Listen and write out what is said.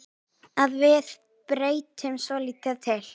Að við breytum svolítið til.